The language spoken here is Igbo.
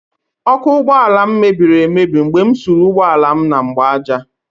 Ọkụ ụgbọala m mebiri mgbe m suru ụgbọala m na mgbaaja